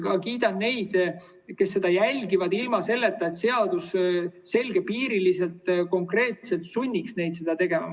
Ka kiidan neid, kes seda järgivad, ilma selleta, et seadus selgepiiriliselt ja konkreetselt sunniks neid seda tegema .